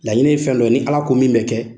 Laɲini ye fɛn dɔ ni ALA ko min bɛ kɛ